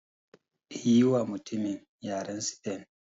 Yiwa mutumin yaren sifen.